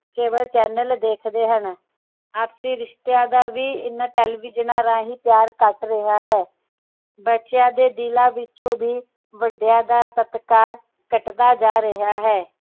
cable channel ਦੇਖਦੇ ਹਨ ਆਪਸੀ ਰਿਸ਼ਤਿਆਂ ਦਾ ਵੀ ਇਨ੍ਹਾਂ ਟੈਲੀਵਿਜ਼ਨਾਂ ਰਾਹੀਂ ਪਿਆਰ ਘਟ ਰਿਹਾ ਹੈ ਬੱਚਿਆਂ ਦੇ ਦਿਲਾਂ ਵਿੱਚੋ ਵੀ ਵੱਡੀਆਂ ਦਾ ਸਤਿਕਾਰ ਘਟਦਾ ਜਾ ਰਿਹਾ ਹੈ